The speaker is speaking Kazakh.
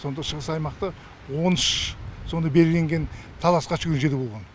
сонда шығыс аймақта он үш сондай белгіленген таласқа түскен жер болған